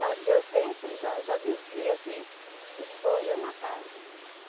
Mas eu sempre já já dizia que o sonho é uma casa.